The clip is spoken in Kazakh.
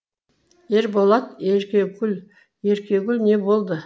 ерболат еркегүл еркегүл не болды